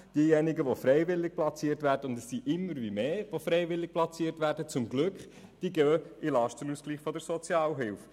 Diejenigen, die freiwillig platziert werden – es sind glücklicherweise immer mehr –, laufen über den Lastenausgleich der Sozialhilfe.